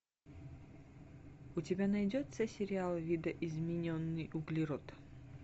у тебя найдется сериал видоизмененный углерод